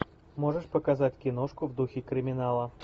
можешь показать киношку в духе криминала